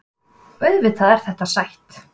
Auðvitað er þetta sætt